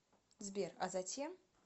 сбер а затем